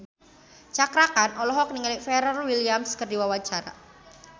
Cakra Khan olohok ningali Pharrell Williams keur diwawancara